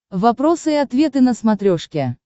вопросы и ответы на смотрешке